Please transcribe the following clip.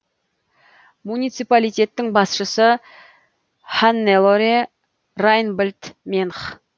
муниципалитеттің басшысы ханнелоре райнбольд менх